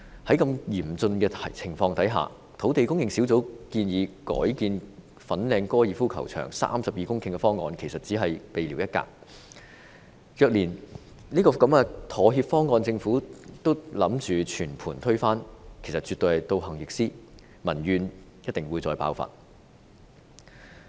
在如此嚴峻的情況下，土地供應專責小組建議改建粉嶺高爾夫球場32公頃的方案，其實只是聊備一格，若連這個妥協方案政府也打算全盤推翻，絕對是倒行逆施，民怨定必再次爆發。